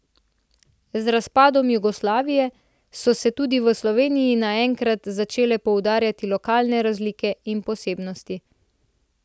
Z razpadom Jugoslavije so se tudi v Sloveniji naenkrat začele poudarjati lokalne razlike in posebnosti.